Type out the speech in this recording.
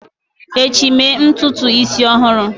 echi, mee ntutu isi ọhụrụ!